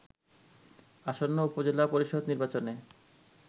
আসন্ন উপজেলা পরিষদ নির্বাচনে